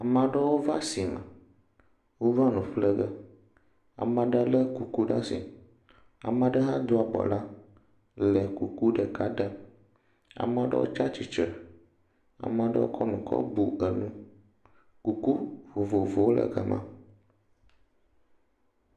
Ama aɖewo va sime. Wova nu ƒle ge. Ama ɖe lé kuku ɖaa asi. Amaa ɖe hã do abɔ la le kuku ɖeka ɖem. Amaa ɖewo tsa tsitsre, amaa ɖewo kɔ nu kɔ nu enu. Kuku vovovowo le gama.